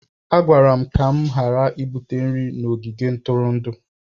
A gwara m ka m ghara ibubata nri n'ogige ntụrụndụ